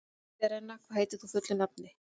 Serena, hvað heitir þú fullu nafni?